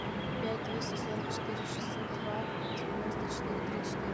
пять двести сорок четыре шестьсот два девяносто четыре три четыре